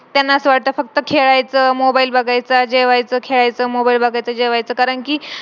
त्यांना असा वाटत फक्त खेळायचं mobile बघायचा जेवायच खेळायच mobile बघायचा जेवायच कारण कि